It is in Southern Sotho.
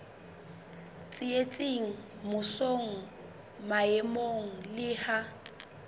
tsitsitseng mmusong maemong le ha